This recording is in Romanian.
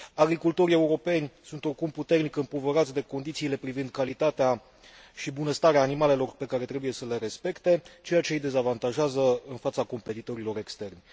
Agricultorii europeni sunt oricum puternic împovărați de condițiile privind calitatea și bunăstarea animalelor, pe care trebuie să le respecte, ceea ce îi dezavantajează în fața competitorilor externi.